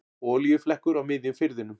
Olíuflekkur á miðjum firðinum